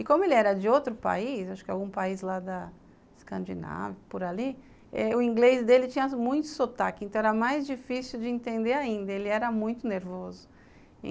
E como ele era de outro país, acho que algum país lá da Escandinávia, por ali, eh, o inglês dele tinha muito sotaque, então era mais difícil de entender ainda, ele era muito nervoso.